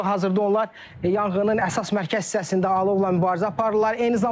Və hazırda onlar yanğının əsas mərkəz hissəsində alovla mübarizə aparırlar.